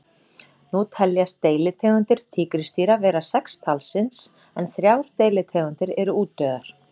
Nú teljast deilitegundir tígrisdýra vera sex talsins en þrjár deilitegundir eru útdauðar.